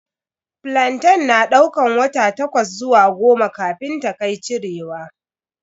Flantain na daukar wata takwas zuwa goma kafin ta kai cirewa.